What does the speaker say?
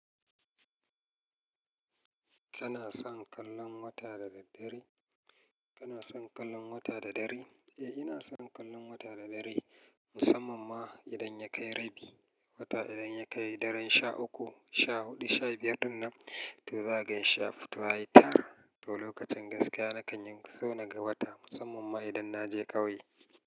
Kana son kallon wata da daddare? Kana son kallon wata da dare? Eh, ina son kallon wata da daddare musamman ma idan ya kai rabi. Wata idan ya kai daren sha uku, sha huɗu, sha biyar, din nan to za ka gan shi ya fito yayi tar. To lokacin gaskiya nakan so na ga wata musamman ma idan na je ƙauye.